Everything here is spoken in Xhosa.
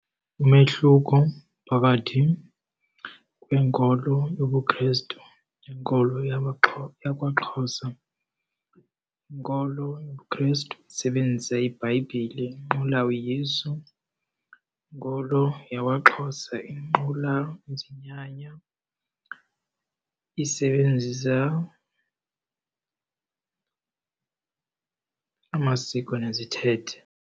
Umehluko phakathi kwenkolo yobuKhrestu nenkolo yakwaXhosa, inkolo yobuKhrestu isebenzisa iBhayibhile inqula uYesu, inkolo yakwaXhosa inqula izinyanya isebenzisa amasiko nezithethe.